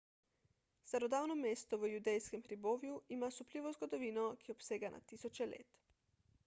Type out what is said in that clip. starodavno mesto v judejskem hribovju ima osupljivo zgodovino ki obsega na tisoče let